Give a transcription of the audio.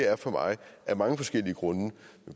er for mig af mange forskellige grunde